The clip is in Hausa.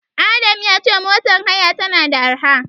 Adam ya ce motar haya tana da arha.